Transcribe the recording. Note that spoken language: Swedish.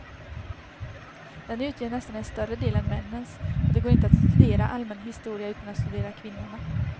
Den utgör nästan en större del än männens, och det går inte att studera allmän historia utan att studera kvinnorna.